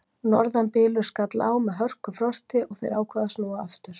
Norðanbylur skall á með hörkufrosti og þeir ákváðu að snúa aftur.